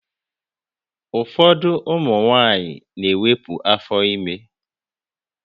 Ụfọdụ ụmụ nwaanyị na-ewepu afọ ime